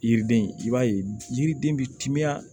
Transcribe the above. Yiriden i b'a ye yiriden bɛ timiya